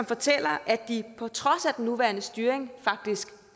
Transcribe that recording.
fortæller at de på trods af at den nuværende styring faktisk